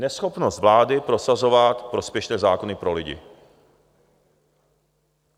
Neschopnost vlády prosazovat prospěšné zákony pro lidi.